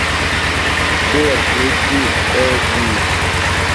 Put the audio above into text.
сбер включи эди